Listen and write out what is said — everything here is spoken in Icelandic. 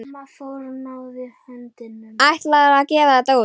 Ætlarðu að gefa þetta út?